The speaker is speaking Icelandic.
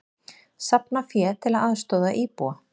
Safna fé til að aðstoða íbúa